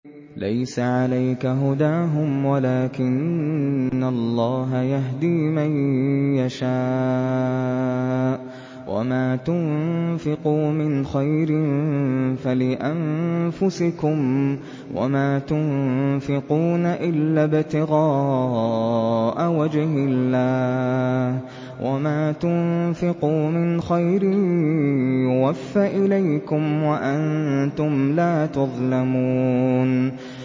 ۞ لَّيْسَ عَلَيْكَ هُدَاهُمْ وَلَٰكِنَّ اللَّهَ يَهْدِي مَن يَشَاءُ ۗ وَمَا تُنفِقُوا مِنْ خَيْرٍ فَلِأَنفُسِكُمْ ۚ وَمَا تُنفِقُونَ إِلَّا ابْتِغَاءَ وَجْهِ اللَّهِ ۚ وَمَا تُنفِقُوا مِنْ خَيْرٍ يُوَفَّ إِلَيْكُمْ وَأَنتُمْ لَا تُظْلَمُونَ